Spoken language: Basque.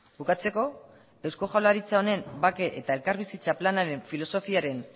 bukatzeko eusko jaurlaritza honen bake eta elkarbizitza planaren filosofiaren